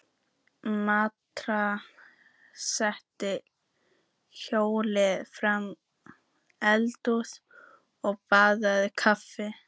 Marta sat hljóð framí eldhúsi og þambaði kaffi.